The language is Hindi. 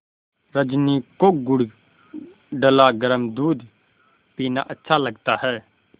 रजनी को गुड़ डला गरम दूध पीना अच्छा लगता है